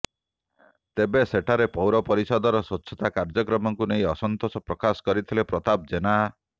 ତେବେ ସେଠାରେ ପୌର ପରିଷଦର ସ୍ବଚ୍ଛତା କାର୍ୟ୍ୟକ୍ରମକୁ ନେଇ ଅସନ୍ତୋଷ ପ୍ରକାଶ କରିଥିଲେ ପ୍ରତାପ ଜେନା